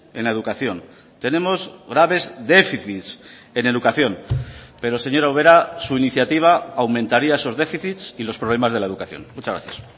en la educación tenemos graves déficits en educación pero señora ubera su iniciativa aumentaría esos déficits y los problemas de la educación muchas gracias